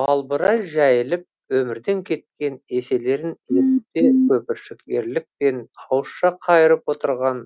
балбырай жәйіліп өмірден кеткен еселерін елітпе көбіршік ерлікпен ауызша қайырып отырған